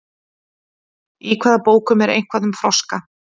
Í hvaða bókum er eitthvað um froska?